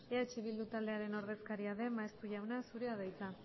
eh bildu taldearen ordezkaria den maeztu jauna zurea da hitza